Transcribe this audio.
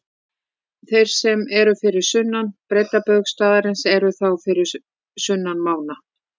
Þeir sem eru fyrir sunnan breiddarbaug staðarins eru þá fyrir sunnan mána.